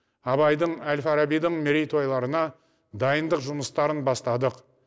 абайдың әл фарабидің мерейтойларына дайындық жұмыстарын бастадық